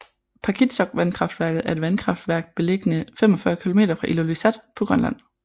Paakitsoq vandkraftværk er et vandkraftværk beliggende 45 km fra Ilulissat på Grønland